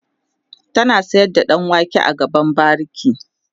ta sayar da ɗan wake a gaban bariki